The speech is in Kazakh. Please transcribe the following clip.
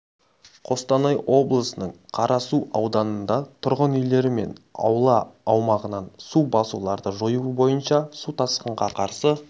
қостанай облысының қарасу ауданында тұрғын үйлері мен аула аумағынан су басуларды жою бойынша су тасқынға қарсы